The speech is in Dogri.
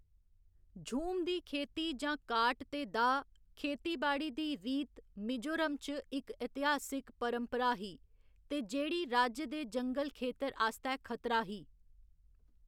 झूम दी खेती जां काट ते दाह्‌‌ खेतीबाड़ी दी रीत मिजोरम च इक इतिहासक परंपरा ही ते जेह्‌‌ड़ी राज्य दे जंगल खेतर आस्तै खतरा ही।